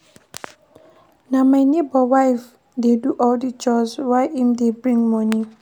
Na my nebor wife dey do all di chores while im dey bring moni.